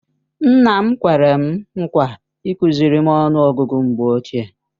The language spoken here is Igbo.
Nna m kwere m nkwa ịkụziri m ọnụ ọgụgụ mgbe ochie.